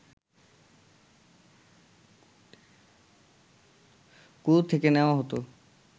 কুয়ো থেকে নেওয়া হত